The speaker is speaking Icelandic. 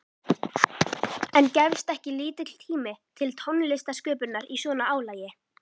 En gefst ekki lítill tími til tónlistarsköpunar í svona álagi?